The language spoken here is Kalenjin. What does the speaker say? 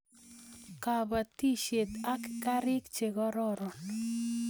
Kapatisiet ak karik chekororon